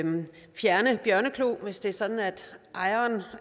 fjerne bjørneklo hvis det er sådan at ejeren